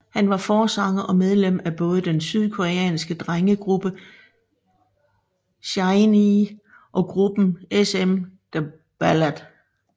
Han var forsanger og medlem af både den sydkoreanske drengegruppe SHINee og gruppen SM The Ballad